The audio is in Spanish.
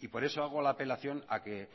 y por eso hago la apelación a que